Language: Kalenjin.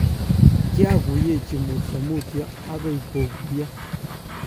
kiaguyechi mutyo mutyo agoi koguiyo